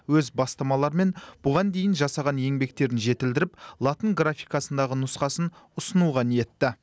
өз бастамаларымен бұған дейін жасаған еңбектерін жетілдіріп латын графикасындағы нұсқасын ұсынуға ниетті